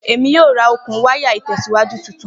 Emi yoo ra okun waya itẹsiwaju tuntun